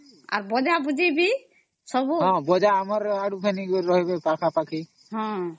ଅମ୍